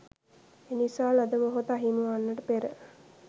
එනිසා ලද මොහොත අහිමි වන්නට පෙර